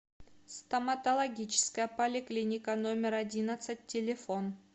стоматологическая поликлиника номер одиннадцать телефон